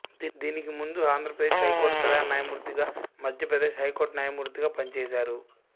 దీనికి ముందు ఆంధ్రప్రదేశ్ హైకోర్టు ప్రధాన న్యాయమూర్తిగా మధ్యప్రదేశ్ హైకోర్టు న్యాయమూర్తిగా పనిచేశారు